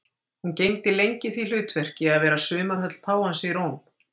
Hún gegndi lengi því hlutverki að vera sumarhöll páfans í Róm.